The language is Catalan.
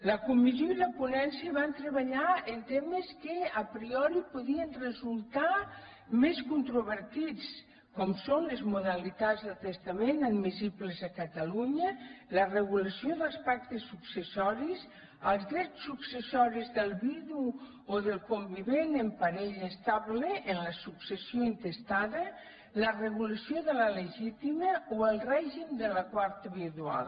la comissió i la ponència van treballar en temes que a priori podien resultar més controvertits com són les modalitats de testament admissibles a catalunya la regulació dels pactes successoris els drets successoris del vidu o del convivent en parella estable en la successió intestada la regulació de la legítima o el règim de la quarta vidual